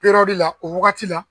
la o wagati la